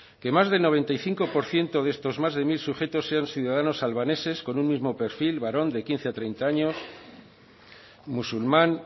que más del noventa y cinco por ciento de estos más de mil sujetos sean ciudadanos albaneses con un mismo perfil varón de quince a treinta años musulmán